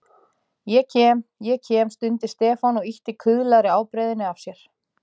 Ég kem, ég kem stundi Stefán og ýtti kuðlaðri ábreiðunni af sér.